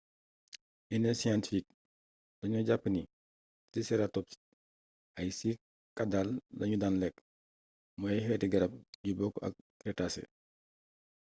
yenn scientifique dañu jàpp ni triceratops ay cycadale lañu daan lekk muy ay xeeti xarab yu bokk ak crétacé